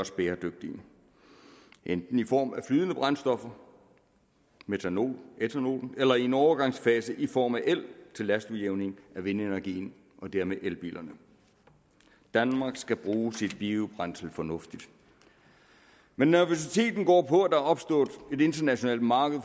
bæredygtige enten i form af flydende brændstoffer metanol ætanol eller i en overgangsfase i form af el til lastudjævning af vindenergien og dermed elbilerne danmark skal bruge sit biobrændsel fornuftigt men nervøsiteten går på at opstået et internationalt marked